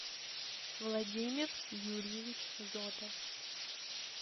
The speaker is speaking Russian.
владимир юрьевич зотов